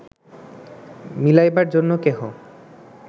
মিলাইবার জন্য কেহ